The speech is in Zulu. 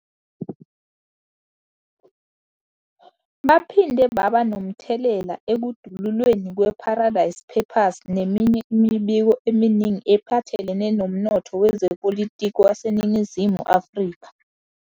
Baphinde baba nomthelela ekudululweni kwe-Paradise Papers neminye imibiko eminingi ephathelene nomnotho wezepolitiki waseNingizimu Afrika.